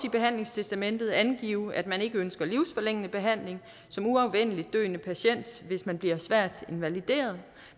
i behandlingstestamentet også angive at man ikke ønsker livsforlængende behandling som uafvendeligt døende patient hvis man bliver svært invalideret